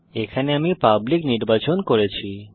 এখানে আমি পাবলিক নির্বাচন করেছি